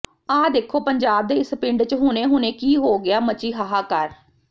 ਆਹ ਦੇਖੋ ਪੰਜਾਬ ਦੇ ਇਸ ਪਿੰਡ ਚ ਹੁਣੇ ਹੁਣੇ ਕੀ ਹੋ ਗਿਆ ਮਚੀ ਹਾਹਾਕਾਰ